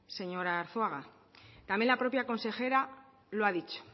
señor arzuaga también la propia consejera lo ha dicho